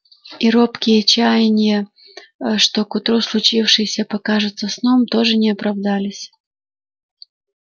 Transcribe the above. и робкие чаяния что к утру случившееся покажется сном тоже не оправдались